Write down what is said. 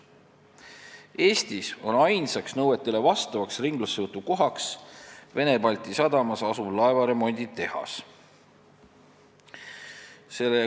Eestis on ainus koht, mis vastab ringlussevõtu nõuetele, Vene-Balti sadamas asuv laevaremonditehas.